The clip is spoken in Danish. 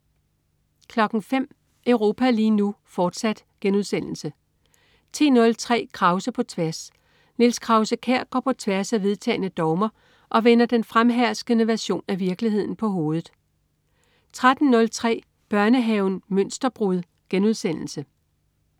05.00 Europa lige nu, fortsat* 10.03 Krause på tværs. Niels Krause-Kjær går på tværs af vedtagne dogmer og vender den fremherskende version af virkeligheden på hovedet 13.03 Børnehaven Mønsterbrud*